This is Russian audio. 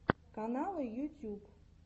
каналы ютьюб